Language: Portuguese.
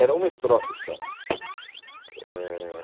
Era uma estrofe só. Eh